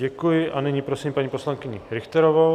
Děkuji a nyní prosím paní poslankyni Richterovou.